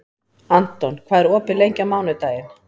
Anton, hvað er opið lengi á mánudaginn?